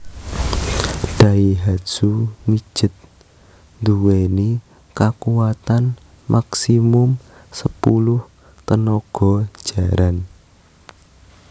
Daihatsu Midget nduweni kakuwatan maksimum sepuluh tenaga jaran